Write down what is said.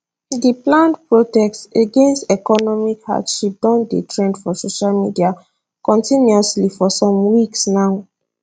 di planned protest against economic hardship don dey trend for social media continuously for some weeks now